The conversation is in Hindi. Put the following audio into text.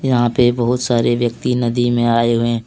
यहां पे बहुत सारे व्यक्ति नदी में आए हुए--